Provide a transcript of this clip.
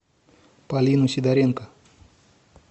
полину сидоренко